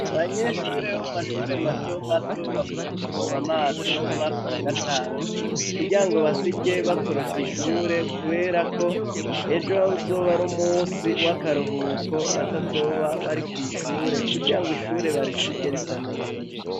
Abanyeshure bo mu mashure mato mato bavuye kuvomba amazi bo mu mwaka wa gatanu kurya ngo basirye bakorofye ishure, kubera ko ejwe abo uzoba ari umusi w'akaruhuko batazoba bari kw'ishure kurya ngo ishure barisirye risaneza.